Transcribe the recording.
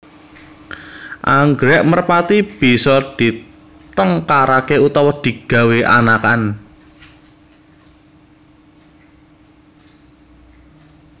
Anggrèk merpati bisa ditengkaraké utawa digawé anakan